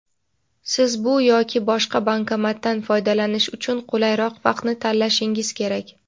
siz bu yoki boshqa bankomatdan foydalanish uchun qulayroq vaqtni tanlashingiz kerak.